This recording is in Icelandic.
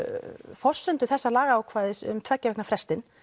forsendu þessa lagaákvæðis um tveggja vikna frestinn